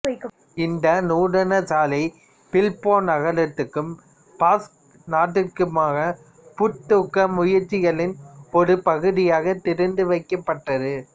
இந்த நூதனசாலை பில்போ நகரத்துக்கும் பாஸ்க் நாட்டிற்குமான புத்தூக்க முயற்சிகளின் ஒரு பகுதியாகத் திறந்துவைக்கப்பட்டது